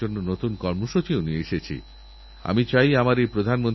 মহাভারতের অনুশাসন পর্বে বলা হয়েছে গাছ পরলোকেও সন্তানের কর্তব্য পালন করে